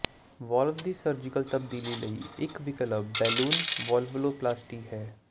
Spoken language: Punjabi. ਵਾਲਵ ਦੀ ਸਰਜੀਕਲ ਤਬਦੀਲੀ ਲਈ ਇੱਕ ਵਿਕਲਪ ਬੈਲੂਨ ਵਾਲਵਲੋਪਲਾਸਟੀ ਹੈ